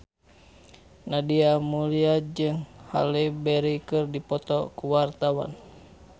Nadia Mulya jeung Halle Berry keur dipoto ku wartawan